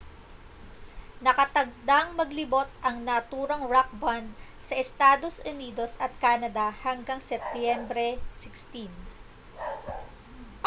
nakatakdang maglibot ang naturang rock band sa estados unidos at canada hanggang setyembre 16